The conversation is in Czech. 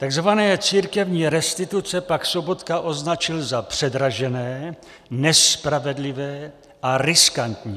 Takzvané církevní restituce pak Sobotka označil za předražené, nespravedlivé a riskantní.